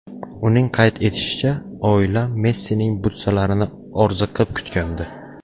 Uning qayd etishicha, oila Messining butsalarini orziqib kutgandi.